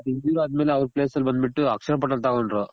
injury ಆದ್ ಮೇಲೆ ಅವ್ರ್ place ಅಲ್ಲಿ ಬಂದ್ ಬಿಟ್ಟು ಅಕ್ಷಯ್ ಪಠಾಣ್ ತಗೊಂಡ್ರು